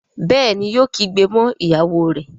Béèni yóò kígbe mọ ìyàwó rẹ.